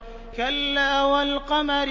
كَلَّا وَالْقَمَرِ